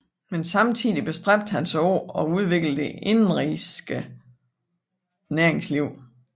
Men samtidig bestræbte han sig på at udvikle det indenrigske næringsliv